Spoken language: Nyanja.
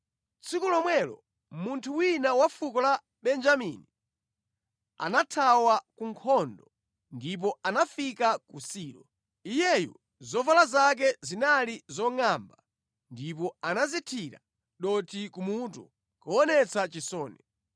Tsiku lomwelo munthu wina wa fuko la Benjamini anathawa ku nkhondo ndipo anafika ku Silo. Iyeyu zovala zake zinali zongʼamba ndipo anadzithira dothi kumutu kuonetsa chisoni.